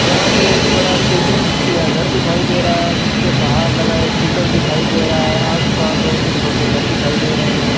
यहां पर एक बड़ा बिल्डिंग या घर दिखाई दे रहा है जिसके बाहर लगाए कूलर दिखाई दे रहा है आस पास और भी छोटे घर दिखाई दे रहे हैं।